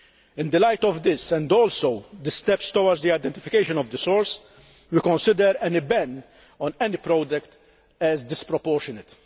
In the light of this and of the steps towards the identification of the source, we consider any ban on any product as disproportionate.